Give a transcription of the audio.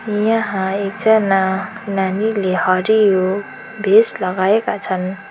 यहाँ एकजना नानीले हरियो भेस्ट लगाएका छन्।